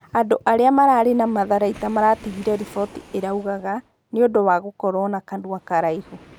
Andũ aria mararĩ na matharaita maratigire riboti ĩraugaga " nĩũndũ wa gũkorwo na kanũa karaihu”